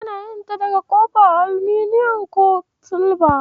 Ana yin ta daga kofa, aluminiyon ko silba.